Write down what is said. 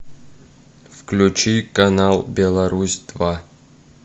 включи канал беларусь два